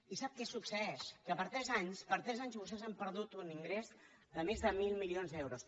i sap què succeeix que per tres anys per tres anys vostès han perdut un ingrés de més de mil milions d’euros